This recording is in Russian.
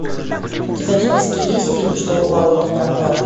у тебя в списке есть фильм что упало то пропало